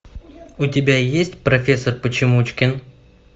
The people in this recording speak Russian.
у тебя есть профессор почемучкин